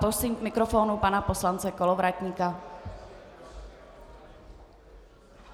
Prosím k mikrofonu pana poslance Kolovratníka.